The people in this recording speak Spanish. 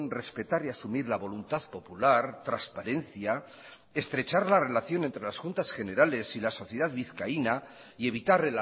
respetar y asumir la voluntad popular transparencia estrechar la relación entre las juntas generales y la sociedad vizcaína y evitar